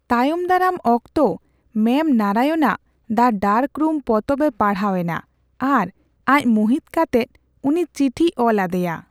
ᱛᱟᱭᱚᱢ ᱫᱟᱨᱟᱢ ᱚᱠᱛᱚ ᱢᱣᱚᱢ ᱱᱟᱨᱟᱭᱚᱱᱟᱜ 'ᱫᱟ ᱰᱟᱨᱠ ᱨᱩᱢ' ᱯᱚᱛᱚᱵ ᱮ ᱯᱟᱲᱦᱟᱣ ᱮᱱᱟ ᱟᱨ ᱟᱡ ᱢᱩᱦᱤᱛ ᱠᱟᱛᱮ ᱩᱱᱤ ᱪᱤᱴᱷᱤ ᱚᱞ ᱟᱫᱮᱭᱟ ᱾